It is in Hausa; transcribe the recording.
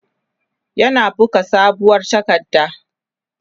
yana buga sabuwar takarda